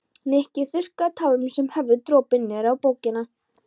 Nikki þurrkaði tárin sem höfðu dropið niður á bókina.